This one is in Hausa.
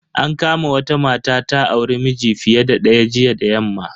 An kama wata mata data auri miji fiye da daya jiya da yamma.